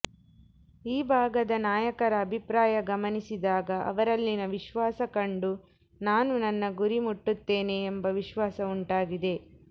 ಈ ಭಾಗದ ನಾಯಕರ ಅಭಿಪ್ರಾಯ ಗಮನಿಸಿದಾಗ ಅವರಲ್ಲಿನ ವಿಶ್ವಾಸ ಕಂಡು ನಾನು ನನ್ನ ಗುರಿ ಮುಟ್ಟುತ್ತೇನೆ ಎಂಬ ವಿಶ್ವಾಸ ಉಂಟಾಗಿದೆ